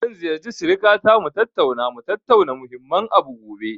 Zan ziyarci sirikata mu tattauna, mu tattauna muhimmin abu gobe.